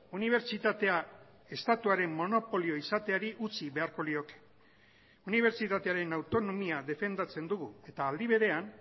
unibertsitatea estatuaren monopolio izateari utzi beharko lioke unibertsitatearen autonomia defendatzen dugu eta aldi berean